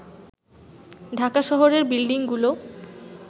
ঢাকা শহরের বিল্ডিংগুলো